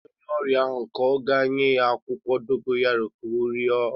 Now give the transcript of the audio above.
Onye nwere onye ọrịa ahụ ọkụ ga-enye ya akwụkwọ dogoyaro ka ọria laa